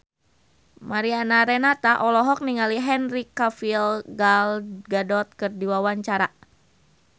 Mariana Renata olohok ningali Henry Cavill Gal Gadot keur diwawancara